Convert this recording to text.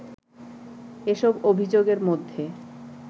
এসব অভিযোগের মধ্যে